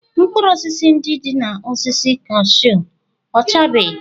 Mkpụrụ osisi ndị dị n'osisi cashew ọchabeghị?